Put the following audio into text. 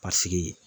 Paseke